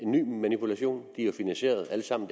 ny manipulation de er jo finansieret alle sammen